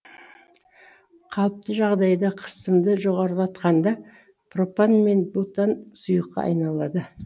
қалыпты жағдайда қысымды жоғарылатқанда пропан мен бутан сұйыққа айналады